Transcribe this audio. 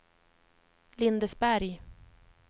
Lindesberg